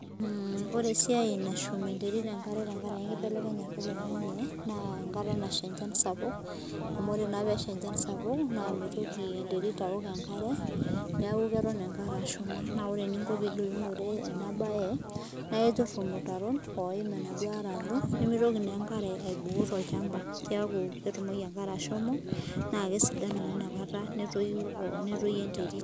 Mmm ore esia nashum enterit enkare tenkaraki enkibelekenyata oloing'an'e, naa enkata nasha enchan sapuk amuu, ore naa pee esha enchan sapuk amuu ore naa pee esha enchan sapuk, naa meitoki enterit aok enkare neeku keton enkare ashuma, naa ore eningo pee igilunore ena bae naaiturr ilmutarron oim enaduo are alo nimitoki naa enkare ashomo naa kesidanu naa inakata netoyu netoyu enterit.